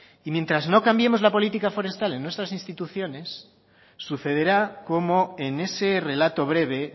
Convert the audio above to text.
y mientras no cambiemos la política forestal en nuestras instituciones sucederá como en ese relato breve